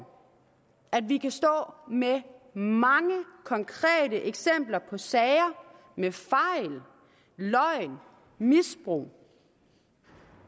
at vi kan stå med mange konkrete eksempler på sager med fejl løgn misbrug